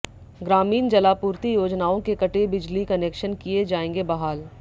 ग्रामीण जलापूर्ति योजनाओं के कटे बिजली कनेक्शन किए जाएंगे बहाल